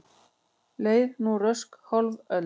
Leið nú rösk hálf öld.